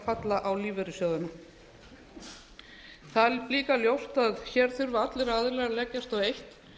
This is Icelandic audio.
falla á lífeyrissjóðina það er líka ljóst að hér þurfa allir aðilar að leggjast á eitt